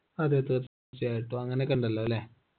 അതെ തീർച്ചയായിട്ടും അങ്ങനക്കെ ഇണ്ടല്ലോ അല്ലെ